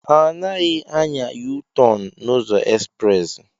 Anaghị anya Yu-tọn n'ụzọ ezprezị